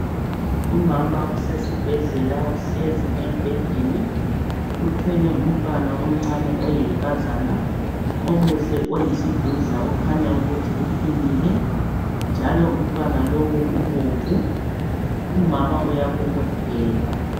Umama usesibhedlela uhlezi embhedeni uthwele umntwana omncane oyintombazana omuhle oyisidudla okhanya ukuthi uphilile njalo umama uyabobotheka